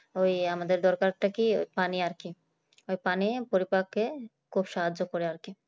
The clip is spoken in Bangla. ওই আমাদের দরকারটা কি পানি আর কি ওই পানি পরিপাকে খুব সাহায্য করে আছে